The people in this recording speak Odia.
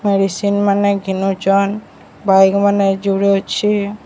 ମେଡ଼ିସିନ ମାନେ ବାଇକ ମାନେ ଜୁଡ଼େ ଅଛି।